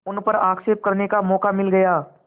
उन पर आक्षेप करने का मौका मिल गया